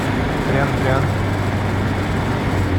трян трян